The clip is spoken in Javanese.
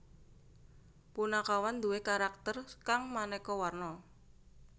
Punakawan duwè karakter kang manéka warna